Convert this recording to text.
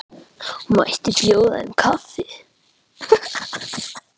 Mætti bjóða þeim kaffi?